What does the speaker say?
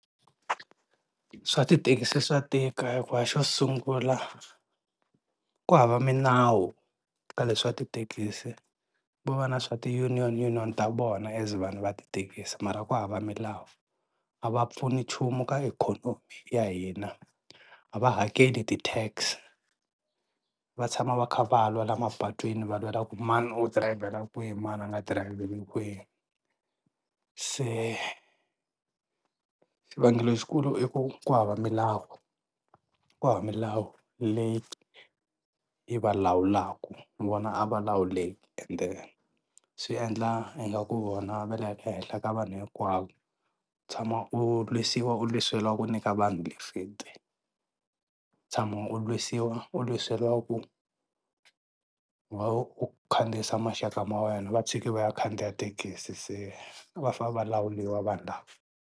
Swa tithekisi swa tika hikuva xo sungula ku hava minawu ka leswa tithekisi, ko va na swa ti-union ta vona as vanhu va tithekisi mara ku hava milawu. A va pfuni nchumu ka ikhonomi ya hina, a va hakeli ti-tax, va tshama va kha valwa la mapatwini va lwela ku mani u dirayivhela kwihi mani a nga dirayivheli kwihi. Se, xivangelo lexikulu i ku ku hava milawu ku hava milawu leyi yi va lawulaka, ni vona a va lawuleka ende swi endla ingaku vona va le henhla ka vanhu hinkwavo, tshama u lwisiwa u lwiseriwa ku nyika vanhu lifiti, tshama u lwisiwa u lwiseriwa ku why u khandziyisa maxaka ma wena va tshiki va ya khandziya thekisi se va fa va lawuliwa vanhu lava.